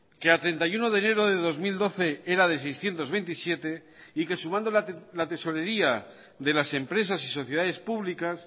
que a treinta y uno de enero de dos mil doce era de seiscientos veintisiete y que sumando la tesorería de las empresas y sociedades públicas